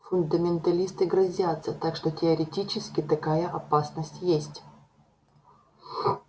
фундаменталисты грозятся так что теоретически такая опасность есть